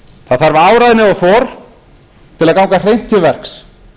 það þarf áræðni og þor til að ganga hreint til verks